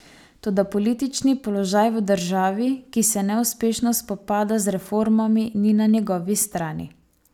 Toda politični položaj v državi, ki se neuspešno spopada z reformami, ni na njegovi strani.